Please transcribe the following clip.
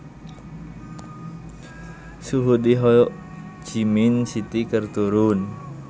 Suhu di Ho Chi Minh City keur turun